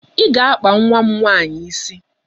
I ga-akpa nwa nwaanyi isi!